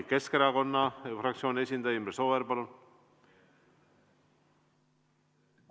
Keskerakonna fraktsiooni esindaja Imre Sooäär, palun!